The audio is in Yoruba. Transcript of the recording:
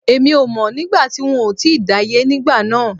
Èmi ò mọ̀ nígbà tí n ò tíì dáyé nígbà náà